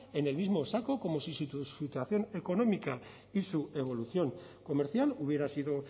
en el mismo saco como si su situación económica y su evolución comercial hubiera sido